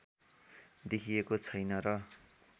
देखिएको छैन र